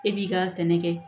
E b'i ka sɛnɛ kɛ